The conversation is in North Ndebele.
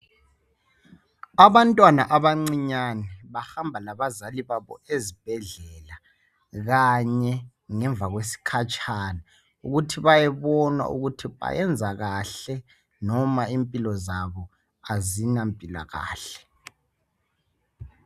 Abantwana abancinyane bahamba labazali babo ezibhedlela kanye ngemva kwesikhatshana ukuthi bayebonwa ukuthi bayenzakahle noma impilo zabo azina mpilakahle